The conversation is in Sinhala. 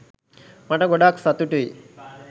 මට ගොඩක් සතුටුයි.